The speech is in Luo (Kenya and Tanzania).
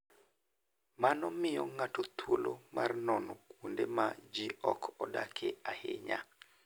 Mano miyo ng'ato thuolo mar nono kuonde ma ji ok odakie ahinya.